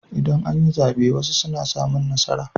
Idan an yi zaɓe wasu suna samun nasara.